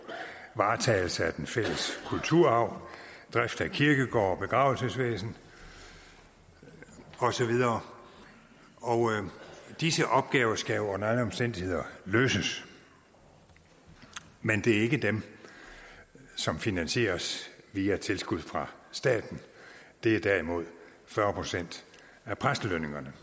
varetagelse af den fælles kulturarv drift af kirkegårde begravelsesvæsen og så videre disse opgaver skal under alle omstændigheder løses men det er ikke dem som finansieres via tilskud fra staten det er derimod fyrre procent af præstelønningerne